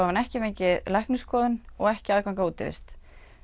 hann ekki fengið læknisskoðun og ekki aðgang að útivist